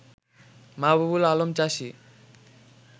মাহবুবুল আলম চাষী